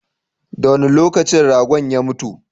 Da wanne lokacin ragon ya mutu?